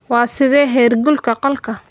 Waa sidee heerkulka qolka?